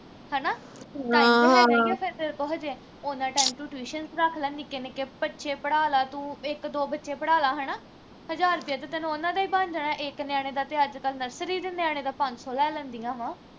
time ਤੇ ਹੈਗਾ ਈ ਆ ਫਿਰ ਤੇਰੇ ਕੋਲ ਹਜੇ ਉਨ੍ਹਾਂ time ਤੂੰ tuition ਰੱਖ ਲਾ ਨਿੱਕੇ ਨਿੱਕੇ ਬੱਚੇ ਪੜਾ ਲਾ ਤੂੰ ਇਕ ਦੋ ਬੱਚੇ ਪੜ੍ਹਾ ਲਾ ਹਣਾ ਹਜਾਰ ਰਪਿਆ ਤਾਂ ਤੈਨੂੰ ਉਨ੍ਹਾਂ ਦਾ ਈ ਬਣ ਜਾਣਾ ਇੱਕ ਨਿਆਣੇ ਦਾ ਤੇ ਅੱਜ ਕੱਲ nursery ਦੇ ਨਿਆਣੇ ਦਾ ਪੰਜ ਸੌ ਲੈ ਲੈਂਦੀਆਂ ਵਾ